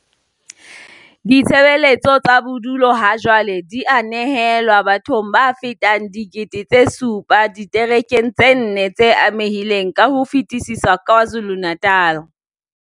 Ditshebeletso tsa bodulo hajwale di a nehelanwa bathong ba fetang 7 000 diterekeng tse nne tse amehileng ka ho fetisisa KwaZulu-Natal.